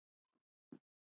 Og hún er að hverfa.